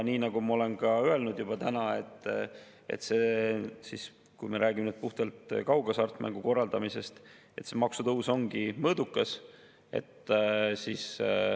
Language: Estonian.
Nagu ma olen täna ka juba öelnud, kui me räägime puhtalt kaughasartmängu korraldamisest, siis see maksutõus ongi mõõdukas.